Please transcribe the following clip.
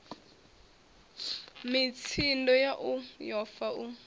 mitsindo yau yo fa u